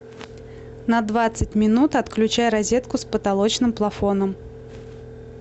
на двадцать минут отключай розетку с потолочным плафоном